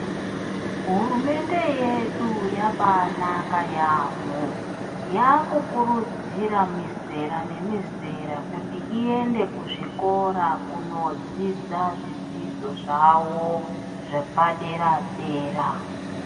Hurumende yedu yabaanaka yaamhoo, yakukurudzira mizera nemizera kuti iende kuzvikora kunodzidza zvidzidzo zvavo zvepadera dera.